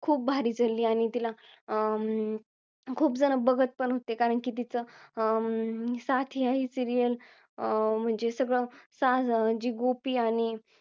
खूप भारी चालली आणि तिला अं खूप जण बघत पण होते कारण की तीच अं साथिया ही serial अं म्हणजे सगळं सा~ जी गोपी आणि